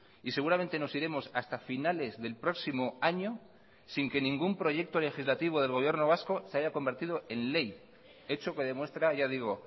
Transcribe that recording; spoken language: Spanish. y seguramente nos iremos hasta finales del próximo año sin que ningún proyecto legislativo del gobierno vasco se haya convertido en ley hecho que demuestra ya digo